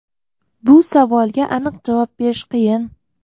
Bu savolga aniq javob berish qiyin.